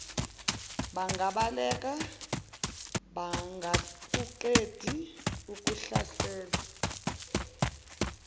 bangabaleka bengakaqedi ukuhlasela